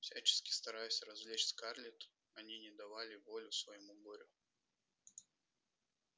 всячески стараясь развлечь скарлетт они не давали воли своему горю